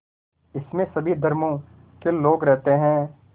इसमें सभी धर्मों के लोग रहते हैं